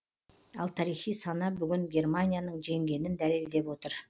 ал тарихи сана бүгін германияның жеңгенін дәлелдеп отыр